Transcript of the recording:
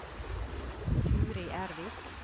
Turid Ervik